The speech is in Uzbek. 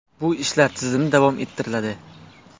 Bu ishlar tizimli davom ettiriladi.